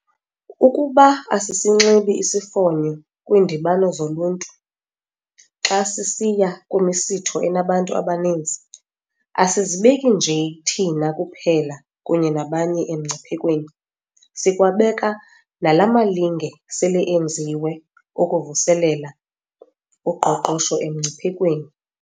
Ukuba asisinxibi isifonyo kwiindibano zoluntu, xa sisiya kwimisitho enabantu abaninzi, asizibeki nje thina kuphela kunye nabanye emngciphekweni. Sikwabeka nala malinge sele enziwe okuvuselela uqoqosho emngciphekweni.